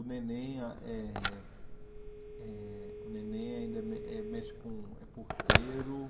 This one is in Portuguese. O Neném eh eh o Neném ainda me é mexe com é porteiro.